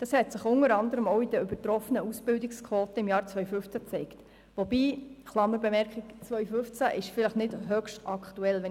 Dies hat sich unter anderem auch in den übertroffenen Ausbildungsquoten im Jahr 2015 gezeigt, wobei die Zahlen aus dem Jahr 2015 vielleicht nicht mehr ganz aktuell sind.